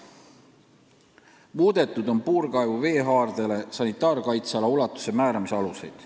Muudetud on puurkaevu veehaardele sanitaarkaitseala ulatuse määramise aluseid.